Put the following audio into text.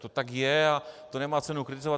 To tak je a to nemá cenu kritizovat.